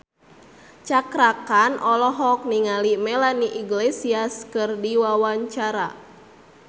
Cakra Khan olohok ningali Melanie Iglesias keur diwawancara